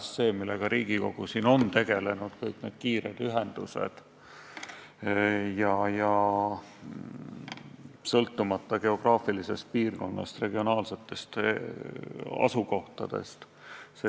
See on valdkond, millega ka Riigikogu on tegelenud – kõik need kiired ühendused sõltumata geograafilisest piirkonnast ja asukohtadest regioonis.